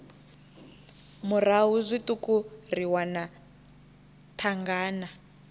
murahu zwiṱuku ri wana thangana